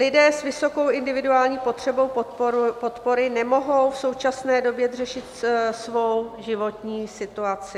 Lidé s vysokou individuální potřebou podpory nemohou v současné době řešit svou životní situaci.